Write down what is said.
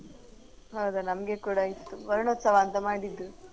ಹೌದ ನಮ್ಗೆ ಕೂಡ ಇತ್ತು ವರ್ಣೋತ್ಸವ ಅಂತ ಮಾಡಿದ್ರು.